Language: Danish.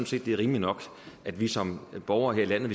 set det er rimeligt nok at vi som borgere her i landet